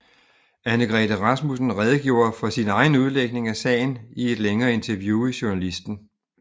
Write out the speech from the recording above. Annegrethe Rasmussen redegjorde for sin egen udlægning af sagen i et længere interview i Journalisten